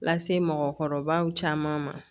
Lase mɔgɔkɔrɔbaw caman ma